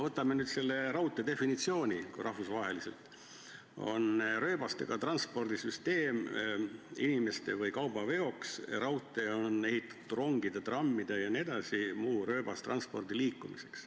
Võtame nüüd raudtee rahvusvahelise definitsiooni: rööbastega transpordisüsteem inimeste või kauba veoks, raudtee on ehitatud rongide, trammide ja muu rööbastranspordi liikumiseks.